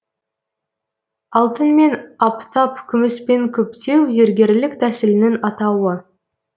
алтынмен аптап күміспен күптеу зергерлік тәсілінің атауы